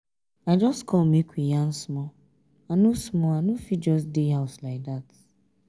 i just come make we yarn small i no small i no fit just dey house like dat.